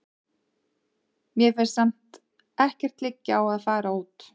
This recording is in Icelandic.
Mér finnst samt ekkert liggja á að fara út.